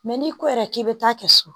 n'i ko yɛrɛ k'i bɛ taa kɛ so